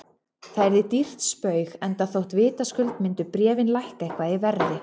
Það yrði dýrt spaug, enda þótt vitaskuld myndu bréfin lækka eitthvað í verði.